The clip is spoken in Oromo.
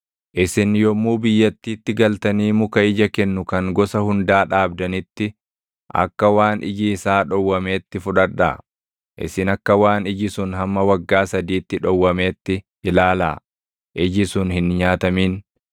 “ ‘Isin yommuu biyyattiitti galtanii muka ija kennu kan gosa hundaa dhaabdanitti, akka waan iji isaa dhowwameetti fudhadhaa. Isin akka waan iji sun hamma waggaa sadiitti dhowwameetti ilaalaa; iji sun hin nyaatamin.